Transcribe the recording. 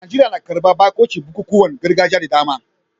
Najeriya na karbar bakuncin bukukuwan gargajiya da dama